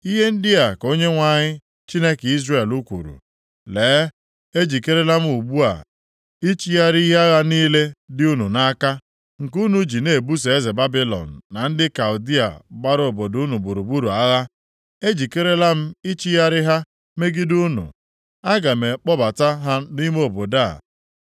‘Ihe ndị a ka Onyenwe anyị, Chineke Izrel kwuru: Lee ejikerela m ugbu a ichigharị ihe agha niile dị unu nʼaka, nke unu ji na-ebuso eze Babilọn na ndị Kaldịa gbara obodo unu gburugburu agha, e, ejikerela m ichigharị ha megide unu. Aga m akpọbata ha nʼime obodo a.